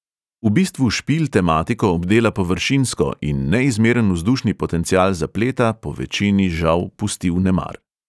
V bistvu špil tematiko obdela površinsko in neizmeren vzdušni potencial zapleta povečini žal pusti vnemar.